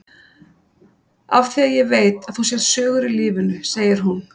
Af því að ég veit að þú sérð sögur í lífinu, segir hún.